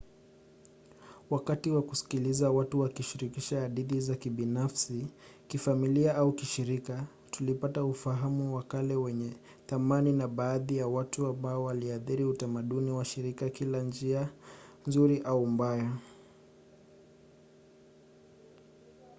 wakati wa kusikiliza watu wakishirikisha hadithi za kibinafsi kifamilia au kishirika tulipata ufahamu wa kale wenye thamani na baadhi ya watu ambao waliathiri utamaduni wa shirika kwa njia nzuri au mbaya